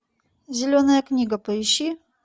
зеленая книга поищи